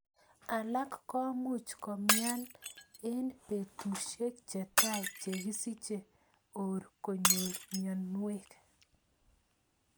Alak ko much komian ing petushek chetai che kisiche or konyor mionwek.